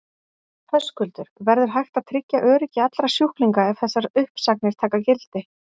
Höskuldur: Verður hægt að tryggja öryggi allra sjúklinga ef þessar uppsagnir taka gildi?